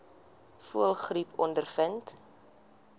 voëlgriep ondervind